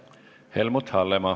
Helmut Hallemaa.